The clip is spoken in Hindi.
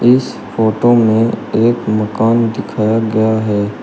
इस फोटो में एक मकान दिखाया गया है।